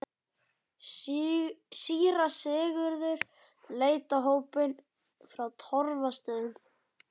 Síra Sigurður leit á hópinn frá Torfastöðum.